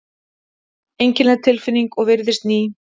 Einkennileg tilfinning og virðist ný.